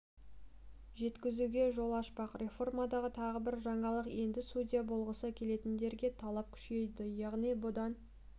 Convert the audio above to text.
жеткізуге жол ашпақ реформадағы тағы бір жаңалық енді судья болғысы келетіндерге талап күшейді яғни бұдан